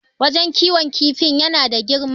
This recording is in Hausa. wajen kiwon kifin yana da girma